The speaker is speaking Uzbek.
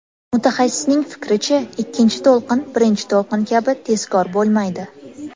Mutaxassisning fikricha, ikkinchi to‘lqin birinchi to‘lqin kabi tezkor bo‘lmaydi.